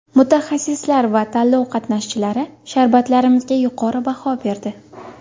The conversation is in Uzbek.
Mutaxassislar va tanlov qatnashchilari sharbatlarimizga yuqori baho berdi”.